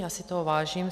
Já si toho vážím.